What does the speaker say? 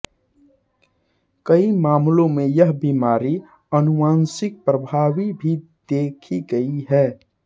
कई मामलों में यह बीमारी आनुवांशिक प्रभावी भी देखी गई है